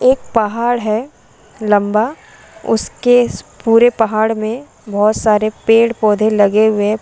एक पहाड़ है लम्बा उसके पुरे पहाड़ में बहुत सारे पेड़ पौधे लगे हुए है।